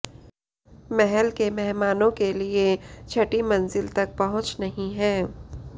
महल के मेहमानों के लिए छठी मंजिल तक पहुंच नहीं है